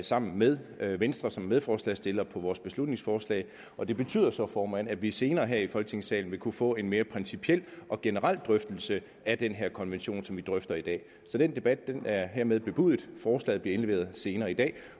sammen med venstre som er medforslagsstiller på vores beslutningsforslag og det betyder så formand at vi senere her i folketingssalen vil kunne få en mere principiel og generel drøftelse af den her konvention som vi drøfter i dag så den debat er hermed bebudet forslaget bliver indleveret senere i dag